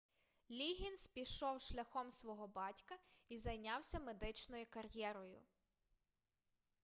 ліггінз пішов шляхом свого батька і зайнявся медичною кар'єрою